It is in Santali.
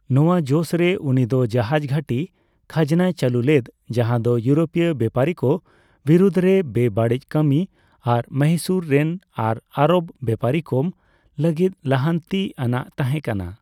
ᱱᱚᱣᱟ ᱡᱚᱥᱨᱮ ᱩᱱᱤ ᱫᱚ ᱡᱟᱦᱟᱡ ᱜᱷᱟᱹᱴᱤ ᱠᱷᱟᱡᱽᱱᱟᱭ ᱪᱟᱹᱞᱩ ᱞᱮᱫ ᱡᱟᱦᱟᱸ ᱫᱚ ᱤᱭᱩᱨᱳᱯᱤᱭᱚ ᱵᱮᱯᱟᱨᱤ ᱠᱚ ᱵᱤᱨᱩᱫ ᱨᱮ ᱵᱮᱼᱵᱟᱹᱲᱤᱡ ᱠᱟᱹᱢᱤ ᱟᱨ ᱢᱚᱦᱤᱥᱩᱨ ᱨᱮᱱ ᱟᱨ ᱟᱨᱚᱵᱽ ᱵᱮᱯᱟᱨᱤ ᱠᱚᱢ ᱞᱟᱹᱜᱤᱫ ᱞᱟᱦᱟᱱᱛᱤ ᱟᱱᱟᱜ ᱛᱟᱦᱮᱸ ᱠᱟᱱᱟ ᱾